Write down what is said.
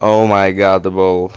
оу май гадэбл